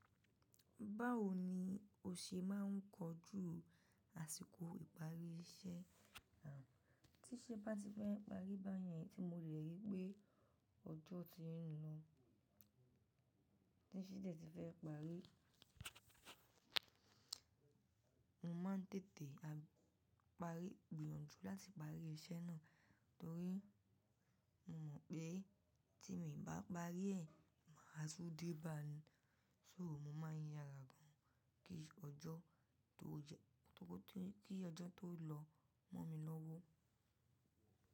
Báwo ni o ṣe máa ń kojú àsìkò ìparí iṣẹ́ rẹ? Tí ṣé bá ti fẹ́ parí báyẹn, tí mo rẹ̀ rí pé ọjọ́ ti ń lọ, tí ṣẹ́dẹ́ tí fẹ́ parí, mo máa ń tètè parí, gbìyànjú láti parí iṣẹ́ náà torí mo mọ̀ pé tí mi bá parí ẹ̀, màá tú dé báa ní, sóò mo máa n yàrá gan an kí ọjọ́ tó jẹ́ kí ọjọ́ tó lọ mọ́ mi lọ́wọ́.